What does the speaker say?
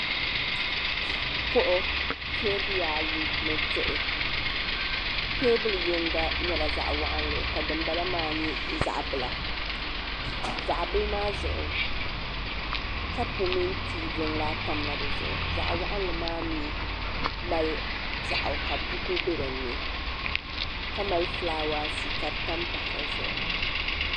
kuɣu teebuya ayi ni diɣi teebuli yinga nyɛla zaɣ waɣanli ka dinbala maa nyɛ zaɣ bila zaɣ bili maa zuɣu kapu mini tii jiŋlaa tamla di zuɣu zaɣ waɣanli maa mii mali piɛɣu ka buku bɛ dinni ka mali fulaawaasi ka di tam pahi dizuɣu